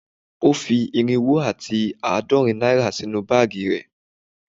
O fi irinwo ati aadorin naira sinu baagi re